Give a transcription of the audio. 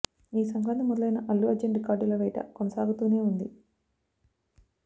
ఈ సంక్రాంతికి మొదలైన అల్లు అర్జున్ రికార్డుల వేట కొనసాగుతూనే ఉంది